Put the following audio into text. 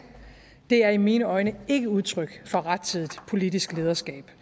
det er i mine øjne ikke udtryk for rettidigt politisk lederskab